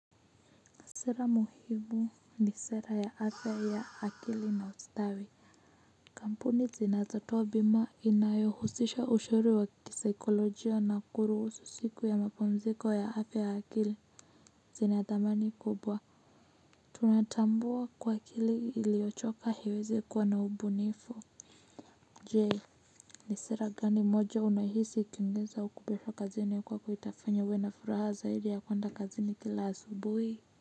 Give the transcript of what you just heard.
Sera muhimu ni sera ya afya ya akili na ustawi kampuni zinazotoa bima inayohusisha ushauri wa kisaikolojia na kuruhusu siku ya mapumziko ya afya ya akili zinathamani kubwa tunatambua kuwa akili iliochoka haiwezi kuwa na ubunifu, je ni sera gani moja unahisi ikiongezwa huku kazini kwako itafanya uwe furaha zaidi ya kuwenda kazini kila asubuhi.